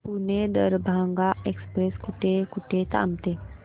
Pune Darbhanga express कुठे कुठे थांबते